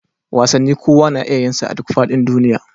Wasanni kowa na iya yinsa a duk faɗin duniya